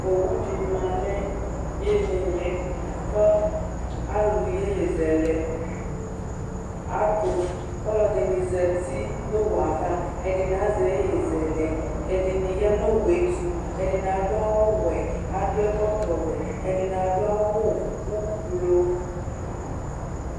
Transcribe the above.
owu di ma n'ilili kò alò yeye zɛlɛ ato k'ɔlò ɛdini zati n'owue ava ɛdini azɛ yeye zɛlɛ ɛdini ya n'owue to ɛdini adu awu wɛ adu ɛkɔtɔ wɛ ɛdini adu awu ublu.